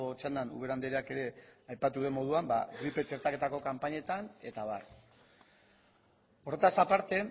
txandan ubera andreak ere aipatu duen moduan gripe txertaketako kanpainetan eta abar horretaz aparte